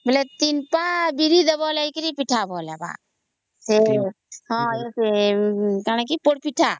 3 ପା ବିରି ଦବ ହେଲେ ଯାଇକିରି ପିଠା ଭଲ ହେବ